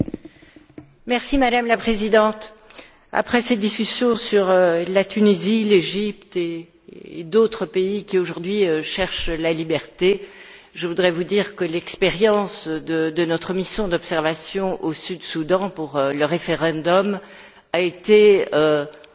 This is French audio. Madame la Présidente, après cette discussion sur la Tunisie, l'Égypte et d'autres pays qui, aujourd'hui, cherchent la liberté, je voudrais vous dire que l'expérience de notre mission d'observation au Sud Soudan pour le référendum a été un scénario